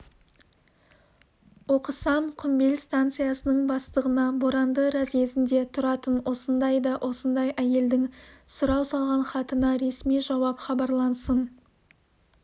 оқысам құмбел станциясының бастығына боранды разъезінде тұратын осындай да осындай әйелдің сұрау салған хатына ресми жауап хабарлансын